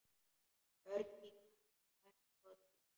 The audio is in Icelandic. Örn kinkaði enn kolli.